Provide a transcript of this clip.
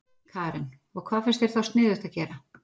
Karen: Og hvað finnst þér þá sniðugt að gera?